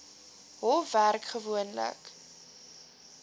hof werk gewoonlik